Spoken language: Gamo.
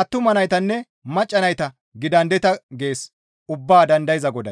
attuma naytanne macca nayta gidandeta» gees Ubbaa dandayza Goday.